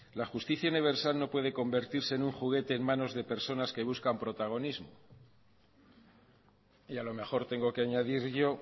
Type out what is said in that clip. la justicia universal no puede convertirse en un juguete en manos de personas que buscan protagonismo y a lo mejor tengo que añadir yo